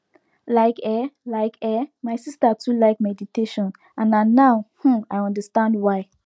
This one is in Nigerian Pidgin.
like eh like eh my sister too like meditation and na now um i understand why